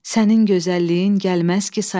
Sənin gözəlliyin gəlməz ki saya,